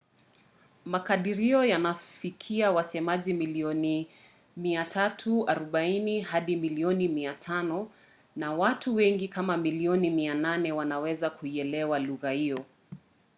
makadirio yanafikia wasemaji milioni 340 hadi milioni 500 na watu wengi kama milioni 800 wanaweza kuielewa lugha hiyo